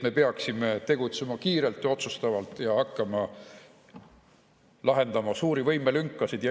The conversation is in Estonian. Me peaksime tegutsema kiirelt ja otsustavalt ja hakkama lahendama suuri võimelünkasid.